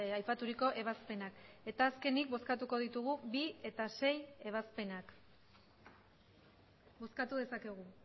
aipaturiko ebazpenak eta azkenik bozkatuko ditugu bi eta sei ebazpenak bozkatu dezakegu